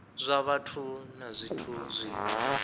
zwa vhathu na zwithu zwine